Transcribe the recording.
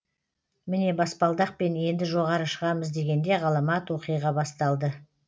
міне баспалдақпен енді жоғары шығамыз дегенде ғаламат оқиға басталды